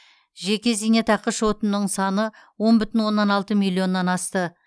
жеке зейнетақы шотының саны он бүтін оннан алты миллионнан асты